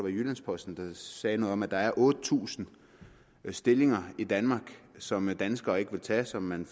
i jyllands posten der sagde noget om at der er otte tusind stillinger i danmark som danskere ikke vil tage som man